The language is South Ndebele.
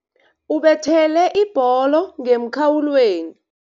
Ubethele ibholo ngemkhawulweni.